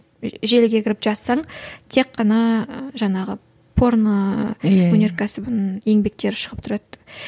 і желіге кіріп жазсаң тек қана жаңағы порно өнеркәсібінің еңбектері шығып тұрады